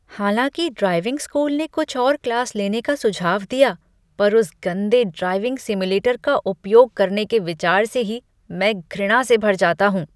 हालाँकि driving school ने कुछ और क्लास लेने का सुझाव दिया पर उस गंदे ड्राइविंग सिम्युलेटर का उपयोग करने के विचार से ही मैं घृणा से भर जाता हूँ।